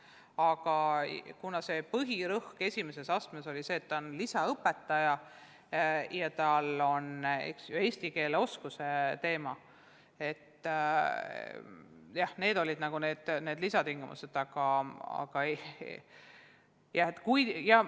Aga kuna põhirõhk esimeses astmes oli see, et ta on lisaõpetaja ja räägib eesti keelt emakeelena, siis olid lisatingimused.